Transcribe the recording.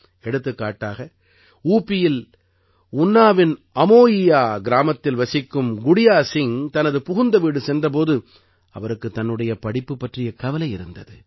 எடுத்துக்காட்டக உபியில் உன்னாவின் அமோயியா கிராமத்தில் வசிக்கும் குடியா சிங் தனது புகுந்த வீடு சென்ற போது அவருக்குத் தன்னுடைய படிப்பு பற்றிய கவலை இருந்தது